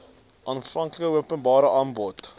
aanvanklike openbare aanbod